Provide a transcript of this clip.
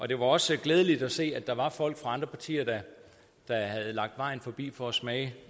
det var også glædeligt at se at der var folk fra andre partier der havde lagt vejen forbi for at smage